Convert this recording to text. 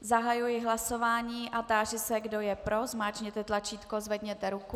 Zahajuji hlasování a táži se, kdo je pro, zmáčkněte tlačítko, zvedněte ruku.